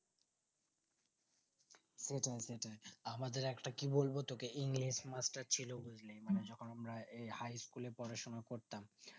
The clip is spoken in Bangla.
সেটাই সেটাই আমাদের একটা কি বলবো তোকে english মাস্টার ছিল যেকোন আমরা এই high school এ পড়াশোনা করতাম